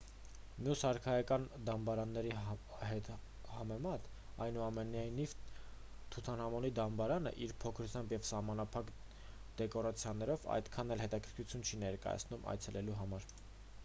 մյուս արքայական դամբարանների համեմատ այնուամենայնիվ թութանհամոնի դամբարանը իր փոքրությամբ և սահմանափակ դեկորացիաներով այդքան էլ հետաքրքրություն չի ներկայացնում այցելելու համար